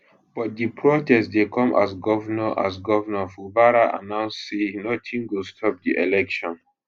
but di protest dey come as govnor as govnor fubara announce say notin go stop di election